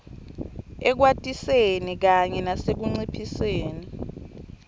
ekwatiseni kanye nasekunciphiseni